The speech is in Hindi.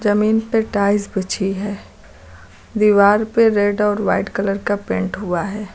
जमीन पे टाइल्स बिछी है दीवार पे रेड और वाइट कलर का पेंट हुआ है।